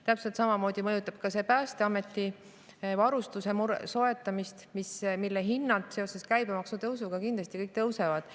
Täpselt samamoodi mõjutab see Päästeameti varustuse soetamist, mille hinnad seoses käibemaksu tõusuga kindlasti kõik tõusevad.